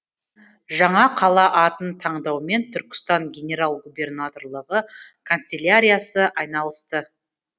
жаңа қала атын таңдаумен түркістан генерал губернаторлығы канцеляриясы айналысты